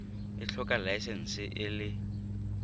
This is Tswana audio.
e tlhoka laesense e le